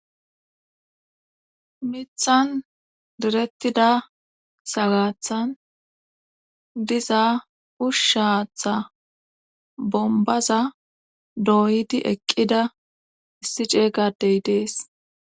miithan direttida sagaathan diza uusha haatha bombbaza dooyidi eqqida issi ceeyga adey dees.